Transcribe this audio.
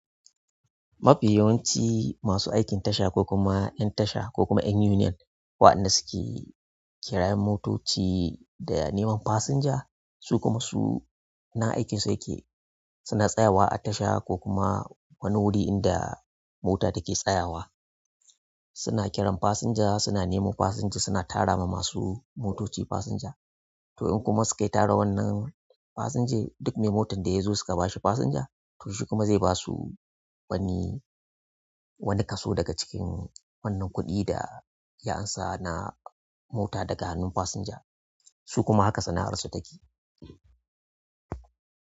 Mafi yawanci masu aikin tasha ko kuma 'yan tasha ko kuma 'yan union waɗanda suke kirayen motoci da neman fasinja, su kuma su nan aikinsu yake, suna tsayawa a tasha ko kuma wani wuri inda mota take tsayawa. Suna kiran fasinja, suna nemo fasinja, suna tara ma masu motoci fasinja. To in kuma suke tara wannan fasinja, duk mai motan da ya zo suke ba shi fasinja to shi kuma zai ba su wani, wani kaso daga cikin wannan kuɗin da ya amsa na mota daga hannun fasinja. Su kuma haka sana'arsu take.